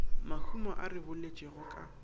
mahumo a re boletšego ka